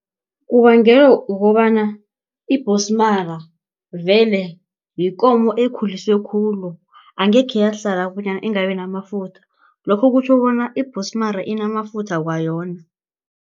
kukobana ibhosimara vele yikomo ekhuliswe khulu angekhe yahlala bonyana ingabi namafutha lokho kutjho bona ibhosimara inamafutha kwayona.